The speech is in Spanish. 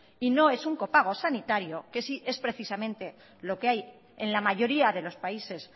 y no es un copago sanitario que sé es precisamente lo que hay en la mayoría de los países